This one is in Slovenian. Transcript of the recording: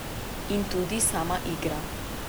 In tudi sama igra.